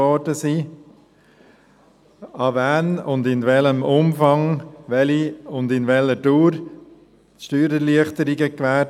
An wen und in welchem Umfang wurden welche und während welcher Dauer Steuererleichterungen gewährt?